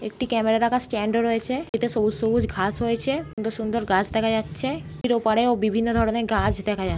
একটি ক্যামেরা রাখার স্ট্যান্ড ও রয়েছে এতে সবুজ-সবুজ ঘাস হয়েছে সুন্দর-সুন্দর গাছ দেখা যাচ্ছে ওপারে ও বিভিন্ন ধরনের গাছ দেখা যা --